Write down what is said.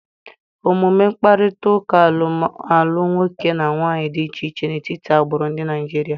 Omume mkpakọrịta alụm alụ nwoke na nwaanyị dị iche iche n'etiti agbụrụ dị na Naịjirịa.